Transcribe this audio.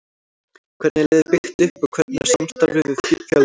Hvernig er liðið byggt upp og hvernig er samstarfið við Fjölni?